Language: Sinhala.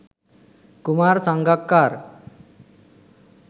kumar sangakkara